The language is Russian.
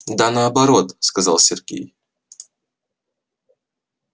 да наоборот сказал сергей